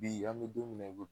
Bi an be don min na i ko